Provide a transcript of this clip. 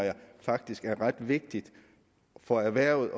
faktisk det her er ret vigtigt for erhvervet